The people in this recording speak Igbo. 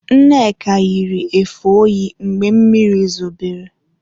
Nneka yiri efe oyi mgbe mmiri zobere.